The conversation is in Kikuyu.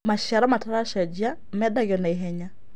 Macĩaro mataracenjĩa mendagĩo naĩhenya